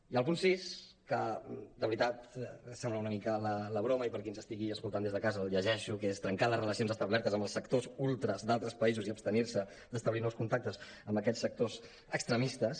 i el punt sis que de veritat sembla una mica la broma i per a qui ens estigui escoltant des de casa el llegeixo que és trencar les relacions establertes amb els sectors ultres d’altres països i abstenir se d’establir nous contactes amb aquests sectors extremistes